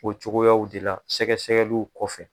O cogoyaw de la sɛgɛsɛgɛliw kɔfɛ.